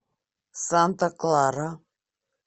санта клара